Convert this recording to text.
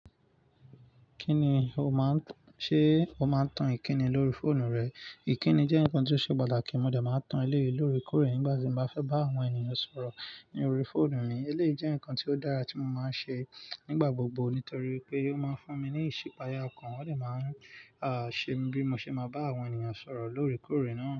Kí ni o máa ń-- ṣé o máa ń tan ìkíni lórí fóònù rẹ? Ìkíni jẹ́ nǹkan tó ṣe pàtàkì, mo dẹ máa ń tan eléyìí lóré kórè nígbà tí mo bá fẹ́ bá àwọn ènìyàn sọ̀rọ̀ lórí fóònù mi. Eléyìí jẹ́ ǹkan tí ó dára tí mo máa ń ṣe nígbà gbogbo nítorí pé ó máa ń fún mi ní ìṣípayà kan. Ọ dẹ máa ń, à, ṣe mí bí mo ṣe máa bá àwọn ènìyàn sọ̀rọ̀ lóré kórè náà.